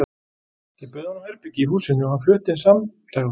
Ég bauð honum herbergi í húsinu og hann flutti inn samdægurs.